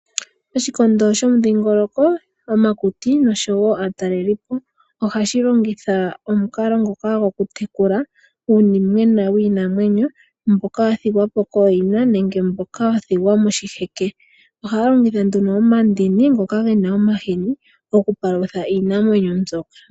Oshikondo shomudhingoloko omakuti noshowo aatalelipo oha shi longitha omukalo ngoka gokutekula uunimwena wiinamwenyo mboka wa thigwa po kooyina nenge mboka wa thigwa moshiheke. Oha longitha nduno omandini ngoka ge na omahini okupalutha iinamwenyo mbyo.